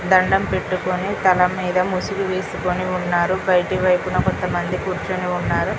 దండం పెట్టుకొని తలమీద ముసుకు వెస్కొని ఉన్నారు బైటివైపున కొంతమంది కూర్చొని ఉన్నారు